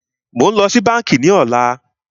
Mó ń lọ sí bánkì ní ọ̀lá.